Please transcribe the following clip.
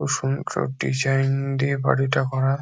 খুব সুন্দর ডিজাইন দিয়ে বাড়িটা করা--